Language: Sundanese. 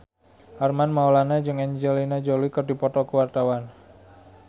Armand Maulana jeung Angelina Jolie keur dipoto ku wartawan